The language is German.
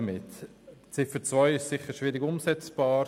Die Ziffer 2 ist bestimmt schwierig umsetzbar.